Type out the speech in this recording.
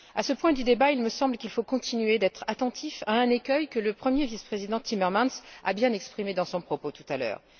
À ce point du débat, il me semble qu'il nous faut continuer d'être attentifs à un écueil que le premier vice président Timmermans a bien exprimé dans son propos, tout à l'heure.